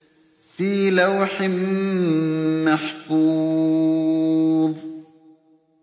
فِي لَوْحٍ مَّحْفُوظٍ